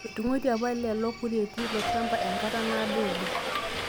Etung'uatie apa lelo kureti ilo shamba enkata naado oleng'